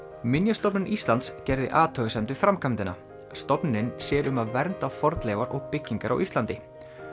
minjastofnun Íslands gerði athugasemd við framkvæmdina stofnunin sér um að vernda fornleifar og byggingar á Íslandi